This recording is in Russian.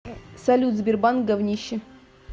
салют сбербанк говнище